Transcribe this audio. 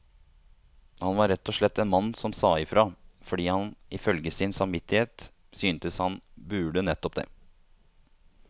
Han var rett og slett en mann som sa ifra, fordi han ifølge sin samvittighet syntes han burde nettopp det.